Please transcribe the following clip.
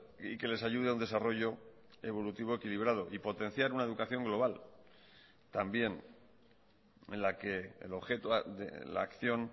y que les ayude a un desarrollo evolutivo equilibrado y potenciar una educación global también en la que el objeto de la acción